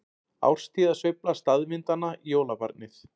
Árstíðasveifla staðvindanna- jólabarnið